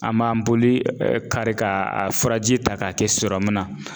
An b'an boli kari ka a furaji ta k'a kɛ na